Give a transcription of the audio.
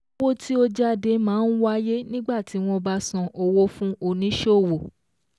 Owó tí ó jáde máa ń wáyé nígbà tí wọ́n bá san owó fún oníṣòwò